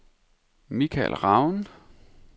Michael Raun